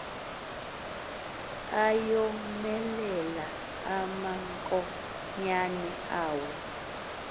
ayomelela amankonyana awo